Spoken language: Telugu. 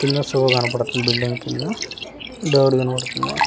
కింద షో కనబడుతుంది బిల్డింగ్ కింద ఇతనికి కనబడుతుంది.